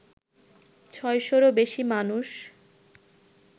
ছয়শোরও বেশি মানুষ